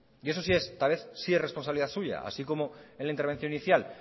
y eso sí es responsabilidad suya así como en la intervención inicial